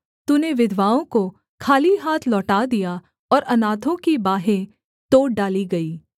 तूने विधवाओं को खाली हाथ लौटा दिया और अनाथों की बाहें तोड़ डाली गई